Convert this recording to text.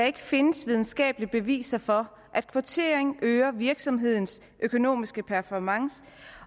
ikke findes videnskabelige beviser for at kvotering øger virksomheders økonomiske performance